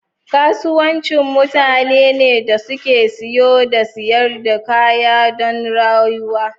Kasuwanci mutane ne da suke siyan da siyar da kaya don rayuwa.